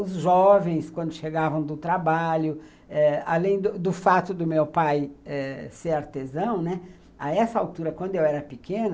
Os jovens, quando chegavam do trabalho eh, além do do fato do meu pai ser artesão, né, a essa altura, quando eu era pequena,